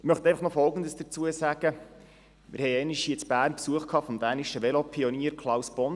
Ich möchte einfach noch Folgendes dazu sagen: Wir hatten einmal in Bern Besuch vom dänischen Velopionier Klaus Bondam.